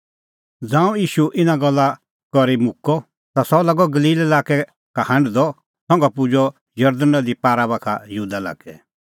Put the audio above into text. ज़ांऊं ईशू इना गल्ला करी मुक्कअ ता सह लागअ गलील लाक्कै का हांढदअ संघा पुजअ जरदण नदी पार यहूदा लाक्कै